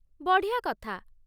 ବଢ଼ିଆ କଥା ।